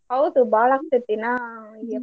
ಹೌದು ಬಾಳ್ ಆಗ್ತತೇತಿ ಇನ್ನ May .